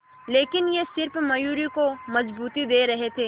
लेकिन ये सिर्फ मयूरी को मजबूती दे रहे थे